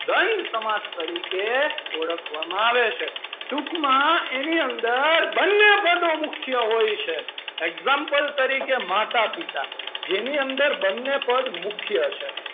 દ્રંદ સમાસ તરીકે ઓળખવામાં આવે છે. ટૂંકમાં એની અંદર બંને પદો મુખ્ય હોય છે. example તરીકે માતા-પિતા જેની અંદર બંને પદ મુખ્ય છે.